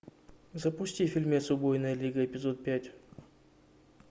запусти фильмец убойная лига эпизод пять